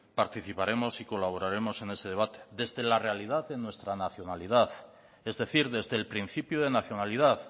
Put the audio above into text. participaremos y colaboraremos en ese debate desde la realidad en nuestra nacionalidad es decir desde el principio de nacionalidad